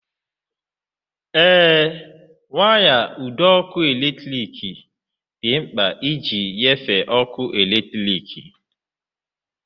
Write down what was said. Ee, waya (ụdọ ọkụ eletrik) dị mkpa iji na-enyefee ọkụ eletrik.